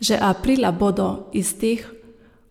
Že aprila bodo iz teh